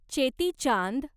Cheti Chand